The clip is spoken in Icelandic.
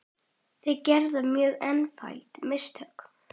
Þeir gerðu mörg einföld mistök.